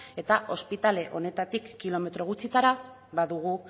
eta ospitale honetatik kilometro gutxitara badugu